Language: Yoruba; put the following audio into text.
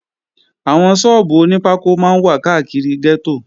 Àwọn sọ́ọ́bù oní pákó máa ń wà káàkiri gẹ́tò